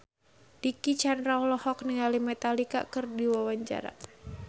Dicky Chandra olohok ningali Metallica keur diwawancara